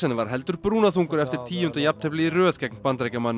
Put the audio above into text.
var heldur brúnaþungur eftir tíunda jafnteflið í röð gegn Bandaríkjamanninum